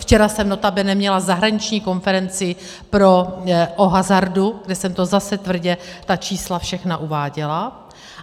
Včera jsem notabene měla zahraniční konferenci o hazardu, kde jsem to zase tvrdě, ta čísla všechna, uváděla.